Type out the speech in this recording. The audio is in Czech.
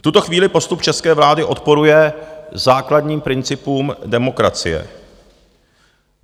V tuto chvíli postup české vlády odporuje základním principům demokracie.